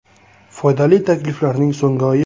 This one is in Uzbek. Foydali takliflarning so‘nggi oyi.